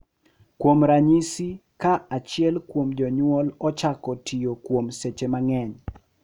Kuom ranyisi, ka achiel kuom jonyuol ochako tiyo kuom seche mang’eny,